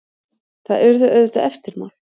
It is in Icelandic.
Það urðu auðvitað eftirmál.